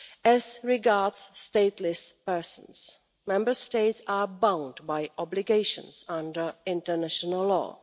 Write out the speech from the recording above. As regards stateless persons, Member States are bound by obligations under international law.